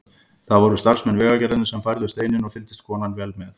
Það voru starfsmenn Vegagerðarinnar sem færðu steininn og fylgdist konan vel með.